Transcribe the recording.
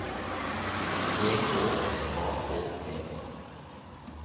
E K S A K T E